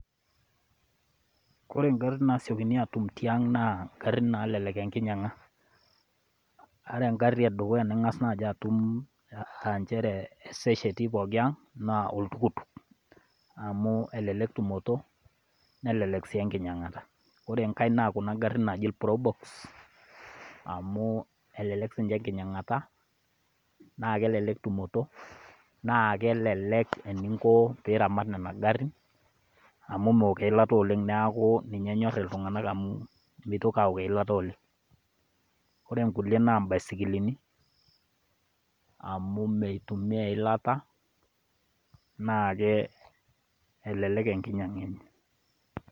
Ore ntol nasiokini atum tiang naa garin nalelek enkinyang'a. Ore egari edukuya ning'as naji atum naa ncheere esesheti pooki eang' naa oltukutuk, amu elelek tumoto nelelek sii enkinyang'ata. Ore enkai na kuna garin naaji probox amu elelek sii ninche enkinyang'ata na kelelek tumoto na kelelek eninko peramat nena garin amu meok eilata oleng' neeku ninche enyor iltung'ana amu mitoki aok eilata oleng'.Ore kulie naa ibaisikini amu meitumia eilata naa elelek enkinyanga.